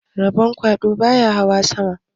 Rabon kwaɗo baya hawa sama